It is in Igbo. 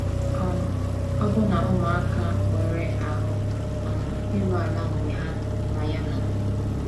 um Ọbụna ụmụaka nwere ahụ́ um iru ala mgbe ha na ya nọ.